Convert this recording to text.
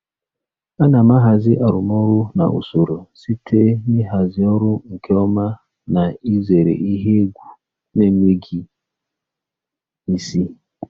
Ana m ahazi arụmọrụ na usoro site n'ịhazi ọrụ nke ọma na izere ihe egwu na-enweghị isi.